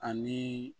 Ani